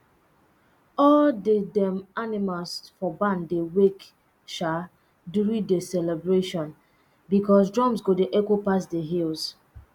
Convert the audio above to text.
all the dem animals for barn dey wake um during the celebration because drums go dey echo pass the hills